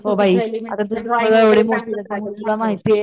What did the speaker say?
हो बाई आता दुसऱ्या वेळी